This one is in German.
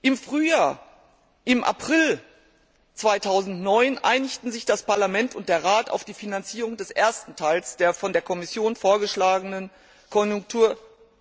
Im April 2009 einigten sich das Parlament und der Rat auf die Finanzierung des ersten Teils der von der Kommission vorgeschlagenen Konjunkturspritze.